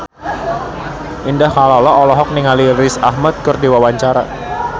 Indah Kalalo olohok ningali Riz Ahmed keur diwawancara